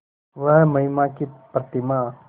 वह महिमा की प्रतिमा